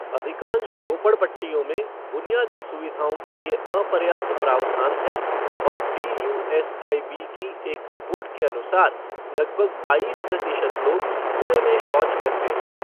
अधिकांश झोपड़ पट्टियों में बुनियादी सुविधाओं के लिए अपर्याप्त प्रावधान हैं और डीयूएसआईबी की एक रिपोर्ट के अनुसार, लगभग बाईस प्रतिशत लोग खुले में शौच करते हैं।